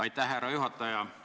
Aitäh, härra juhataja!